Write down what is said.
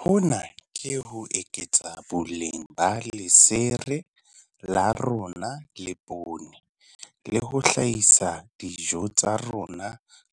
Hona ke ho eketsa boleng ba lesere la rona le poone, le ho hlahisa dijo tsa rona